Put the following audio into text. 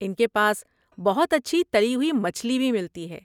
ان کے پاس بہت اچھی تلی ہوئی مچھلی بھی ملتی ہے۔